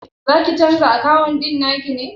Zaki canza akawun ɗin naki ne?